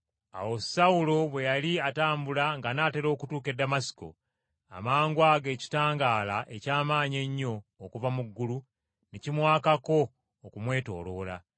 Awo Sawulo bwe yali atambula ng’anaatera okutuuka e Damasiko, amangwago ekitangaala eky’amaanyi ennyo okuva mu ggulu ne kimwakako okumwetooloola.